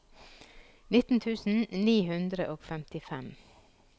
nitten tusen ni hundre og femtifem